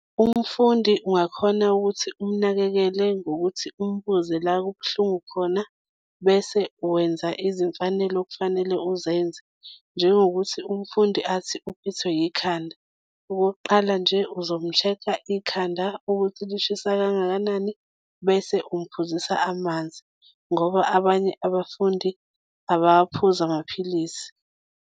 Umfundi ungakhona ukuthi umnakekele ngokuthi umbuze la kubuhlungu khona bese wenza izimfanelo okufanele uzenze, njengokuthi umfundi athi uphethwe yikhanda. Okokuqala nje, uzomu-check-a ikhanda ukuthi lishisa kangakanani bese umphuzisa amanzi ngoba abanye abafundi abawaphuza amaphilisi.